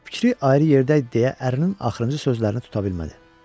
Fikri ayrı yerdə idi deyə ərinin axırıncı sözlərini tuta bilmədi.